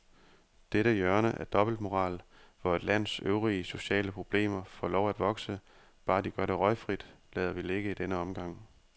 Dette hjørne af dobbeltmoral, hvor et lands øvrige sociale problemer får lov at vokse, bare de gør det røgfrit, lader vi ligge i denne omgang.